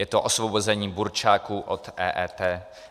Je to osvobození burčáku od EET.